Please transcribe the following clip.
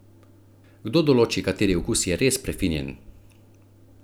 Kdo določi, kateri okus je res prefinjen?